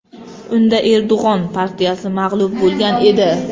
Unda Erdo‘g‘on partiyasi mag‘lub bo‘lgan edi.